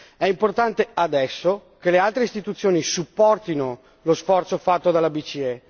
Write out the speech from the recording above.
È importante adesso che le altre istituzioni supportino lo sforzo fatto dalla BCE.